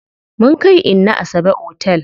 Mun kai inna Asabe otel.